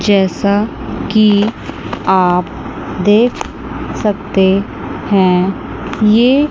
जैसा कि आप देख सकते हैं ये--